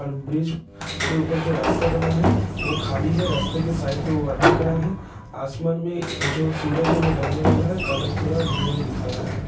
और ब्रिज के ऊपर जो रास्ता बना है वह खाली है रास्ते के साइड में वह आदमी खड़ा है आसमान में जो सूरज है वह ढलने वाला है और कलर थोड़ा ग्रे दिख रहा है।